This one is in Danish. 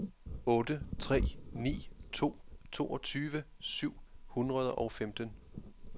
otte tre ni to toogtyve syv hundrede og femten